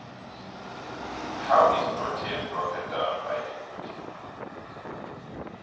how is protein broken down by the body